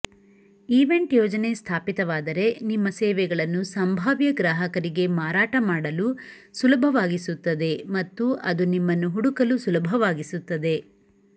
event ಯೋಜನೆ ಸ್ಥಾಪಿತವಾದರೆ ನಿಮ್ಮ ಸೇವೆಗಳನ್ನು ಸಂಭಾವ್ಯ ಗ್ರಾಹಕರಿಗೆ ಮಾರಾಟ ಮಾಡಲು ಸುಲಭವಾಗಿಸುತ್ತದೆ ಮತ್ತು ಅದು ನಿಮ್ಮನ್ನು ಹುಡುಕಲು ಸುಲಭವಾಗಿಸುತ್ತದೆ